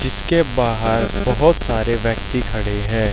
इसके बाहर बहोत सारे व्यक्ति खड़े हैं।